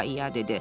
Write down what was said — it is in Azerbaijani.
ia-ia dedi.